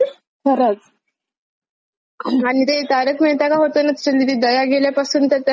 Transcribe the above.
आणि ते तारक मेहता का होत ना व त्याच्यातली ती दया गेल्यापासून तर त्या हो हो शोचं तितकस काही..